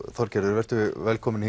Þorgerður vertu velkomin